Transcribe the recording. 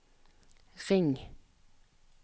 ring